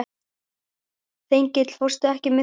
Þengill, ekki fórstu með þeim?